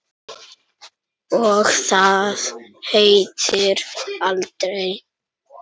Og það hættir aldrei.